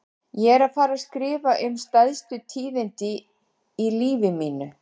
Ég er að fara að skrifa um stærstu tíðindin í lífi mínu.